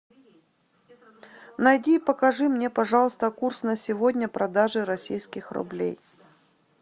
найди и покажи мне пожалуйста курс на сегодня продажи российских рублей